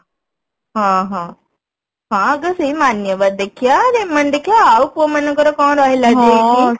ହଁ ହଁ ହଁ ଆଗ ସେଇ ମାନ୍ୟବର ଦେଖିବା ରେମଣ୍ଡ ଦେଖିବା ଆଉ ପୁଅ ମାନଙ୍କର କଣ ରହିଲା ଯେ